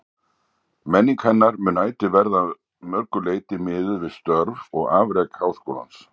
Menning hennar mun ætíð verða að mörgu leyti miðuð við störf og afrek Háskólans.